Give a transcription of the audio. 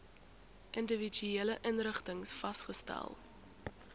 individuele inrigtings vasgestel